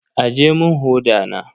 Aje mun hoda na.